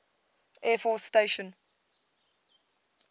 air force station